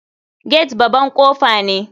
Gate baban kofa ne.